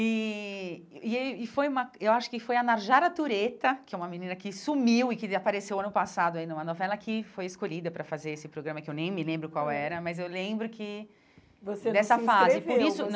E e aí foi uma... Eu acho que foi a Narjara Tureta, que é uma menina que sumiu e que apareceu ano passado aí numa novela, que foi escolhida para fazer esse programa, que eu nem me lembro qual era, mas eu lembro que... Você não se inscreveu dessa fase por isso.